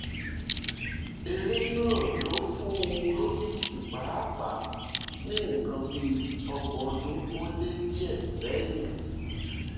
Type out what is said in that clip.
èrè náà ló fún un lókìkí páàpáà ní nǹkan bíi ọgbọ̀n ọdún ó lé díẹ̀ sẹ́yìn